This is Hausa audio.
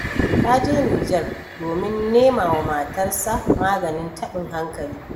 Ya je Nijar domin nema wa matarsa maganin taɓin hankali.